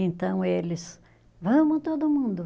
Então eles, vamos todo mundo.